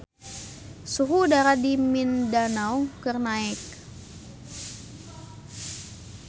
Suhu udara di Mindanao keur naek